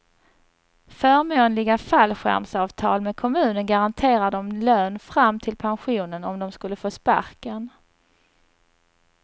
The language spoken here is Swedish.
Förmånliga fallskärmsavtal med kommunen garanterar dem lön fram till pensionen om de skulle få sparken.